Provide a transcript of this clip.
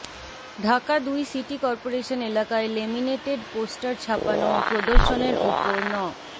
ঢাকা দুই city corporation এলাকায় laminated poster ছাপানো ও প্রদর্শনের ওপর ন